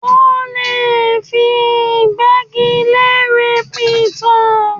Wọ́n lè fi ìgbẹ́gilére pìtàn.